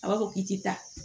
A b'a fɔ k'i ti taa